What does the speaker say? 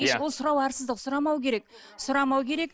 иә сұрау арсыздық сұрамау керек сұрамау керек